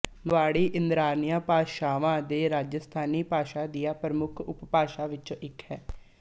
ਮਵਾੜੀ ਇੰਦਰਾਆਰੀਅਨ ਭਾਸ਼ਾਵਾਂ ਦੇ ਰਾਜਸਥਾਨੀ ਭਾਸ਼ਾ ਦੀਆਂ ਪ੍ਰਮੁੱਖ ਉਪਭਾਸ਼ਾਵਾਂ ਵਿੱਚੋਂ ਇੱਕ ਹੈ